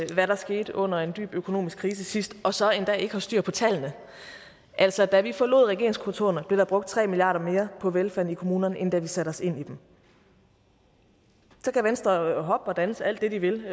hvad der skete under en dyb økonomisk krise sidst og så endda ikke har styr på tallene altså da vi forlod regeringskontorerne blev der brugt tre milliard kroner mere på velfærden i kommunerne end da vi satte os ind i dem så kan venstre hoppe og danse alt det de vil